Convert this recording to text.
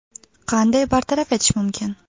Qanday bartaraf etish mumkin?